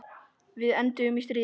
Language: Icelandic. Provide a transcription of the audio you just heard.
Við enduðum í stríði.